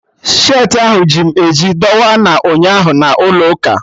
Skirtị ahụ ji m eji dọwa na ụnyaahụ na ụlọ ụka